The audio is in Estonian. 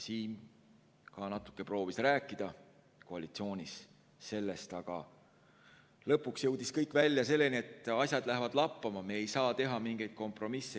Siim ka natuke proovis rääkida koalitsioonis sellest, aga lõpuks jõudis kõik välja selleni, et asjad lähevad lappama, me ei saa teha mingeid kompromisse.